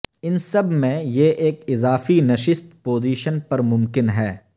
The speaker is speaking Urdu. ان سب میں یہ ایک اضافی نشست پوزیشن پر ممکن ہے